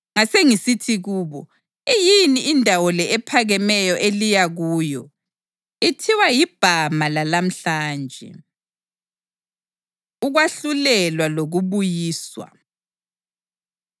Ngasengisithi kubo: Iyini indawo le ephakemeyo eliya kuyo?’ ” (Ithiwa yiBhama lalamhlanje.) Ukwahlulelwa Lokubuyiswa